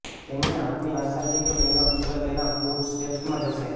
તેમણે આપની આશા છે કે તેમના પુત્ર તેના ફૂટસ્ટેપ્સ માં જશે